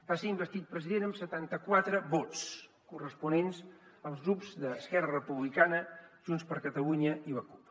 va ser investit president amb setanta quatre vots corresponents als grups d’esquerra republicana junts per catalunya i la cup